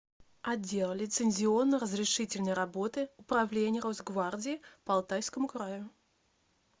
отдел лицензионно разрешительной работы управления росгвардии по алтайскому краю